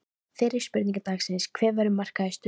Fyrri spurning dagsins: Hver verður markahæstur?